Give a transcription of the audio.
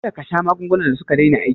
Kada kasha magungunan da suka daina aiki